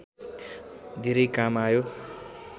धेरै काम आयो